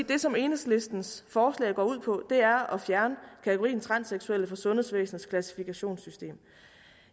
det som enhedslistens forslag går ud på er at fjerne kategorien transseksuelle fra sundhedsvæsenets klassifikationssystem